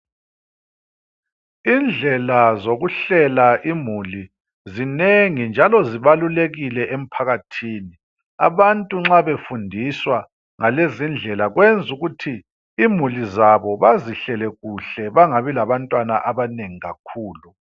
Indlela zokuhlela imuli zinengi njalo zibalulekile emphakathini. Abantu nxa befundiswa ngalezindlela kwenzukuthi imuli zabo bazihlele kuhle, bangabi labantwana abanengi kakhulu.